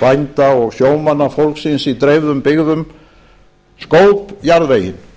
bænda og sjómanna fólksins í dreifðum byggðum skóp jarðveginn